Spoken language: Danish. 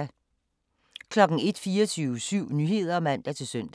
01:00: 24syv Nyheder (man-søn)